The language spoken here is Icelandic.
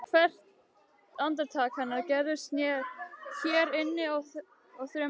Hvert andartak hennar gerðist hér inni fyrir þremur vikum Pétur.